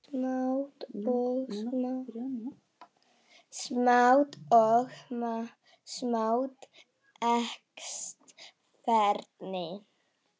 Smátt og smátt eykst færnin.